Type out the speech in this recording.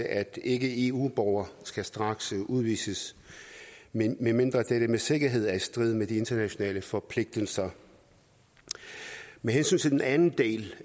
at ikke eu borgere skal straksudvises medmindre dette med sikkerhed er i strid med de internationale forpligtelser med hensyn til den anden del